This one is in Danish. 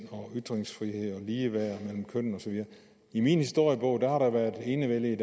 ytringsfrihed og ligeværd mellem kønnene i min historiebog har der været enevælde i